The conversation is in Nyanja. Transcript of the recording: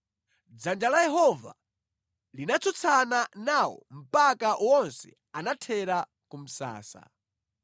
Dzanja la Yehova linatsutsana nawo mpaka wonse anathera ku msasa.